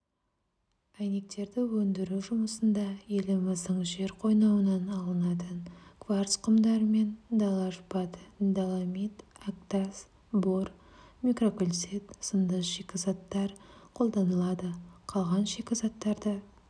әйнектерді өндіру жұмысында еліміздің жер қойнауынан алынатын кварц құмдары мен дала шпаты доломит әктас бор микрокальцит сынды шикізаттар қолданылады қалған шикізаттарды